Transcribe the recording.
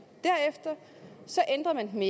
men